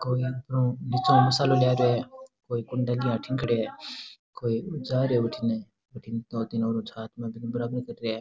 कोई न निचे मसाला ला रया है कोई कुंडे लिया अठीने खड्या है कोई जा रिया है उठिने दो तीन और छात माते बराबर कर रिया है।